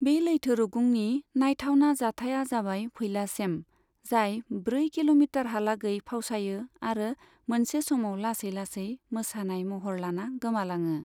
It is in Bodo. बे लैथो रुगुंनि नायथावना जाथाइया जाबाय फैला सेम, जाय ब्रै किल'मिटारहालागै फावसायो आरो मोनसे समाव लासै लासै मोसानाय महर लाना गोमालाङो।